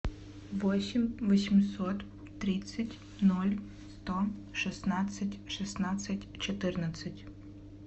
восемь восемьсот тридцать ноль сто шестнадцать шестнадцать четырнадцать